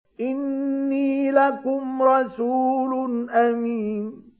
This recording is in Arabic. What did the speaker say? إِنِّي لَكُمْ رَسُولٌ أَمِينٌ